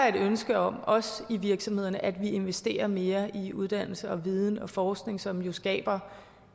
et ønske om også i virksomhederne at vi investerer mere i uddannelse og viden og forskning som jo skaber